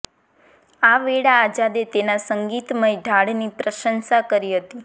આ વેળા આઝાદે તેના સંગીતમય ઢાળની પ્રશંસા કરી હતી